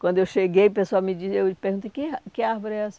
Quando eu cheguei, o pessoal me perguntou, que ár que árvore é essa?